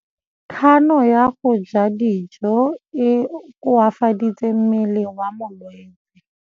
Kganô ya go ja dijo e koafaditse mmele wa molwetse.